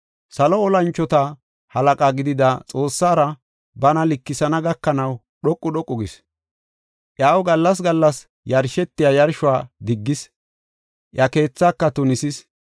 Salo tora mocona gidida Xoossara bana likisana gakanaw dhoqu dhoqu gis. Iyaw gallas gallas yarshetiya yarshuwa diggis; iya keethaaka tunisis.